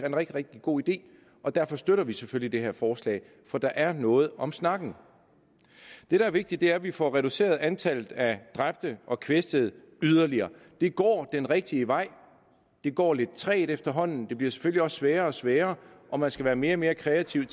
en rigtig rigtig god ide og derfor støtter vi selvfølgelig det her forslag for der er noget om snakken det der er vigtigt er at vi får reduceret antallet af dræbte og kvæstede yderligere det går den rigtige vej det går lidt trægt efterhånden det bliver selvfølgelig også sværere og sværere og man skal være mere og mere kreativ